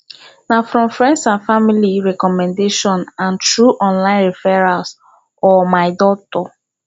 na from friends and family recommendation and through online referrals or my doctor